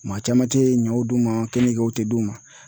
Maa caman tɛ ɲɔ d'u ma kenigew tɛ d'u ma